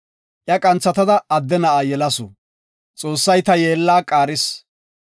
Iya qanthatada adde na7a yelasu; “Xoossay ta yeella qaaris.